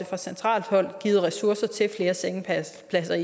fra centralt hold er givet ressourcer til flere sengepladser